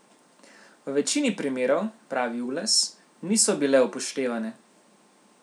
V večini primerov, pravi Ules, niso bile upoštevane.